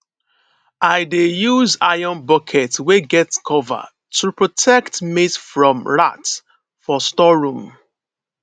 i dey use iron bucket wey get cover to protect maize from rat for storeroom